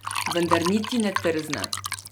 Vendar niti ne trzne.